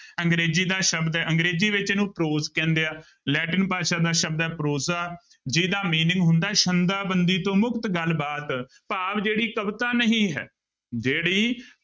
ਅੰਗਰੇਜ਼ੀ ਦਾ ਸ਼ਬਦ ਹੈ ਅੰਗਰੇਜ਼ੀ ਵਿੱਚ ਇਹਨੂੰ prose ਕਹਿੰਦੇ ਆ ਲੈਟਿਨ ਭਾਸ਼ਾ ਦਾ ਸ਼ਬਦ ਹੈ prose ਜਿਹਦਾ meaning ਹੁੰਦਾ ਹੈ ਸੰਦਾ ਬੰਦੀ ਤੋਂ ਮੁਕਤ ਗੱਲਬਾਤ ਭਾਵ ਜਿਹੜੀ ਕਵਿਤਾ ਨਹੀਂ ਹੈ, ਜਿਹੜੀ